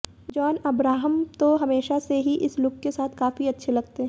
John Abraham तो हमेशा से ही इस लुक के साथ काफी अच्छे लगते हैं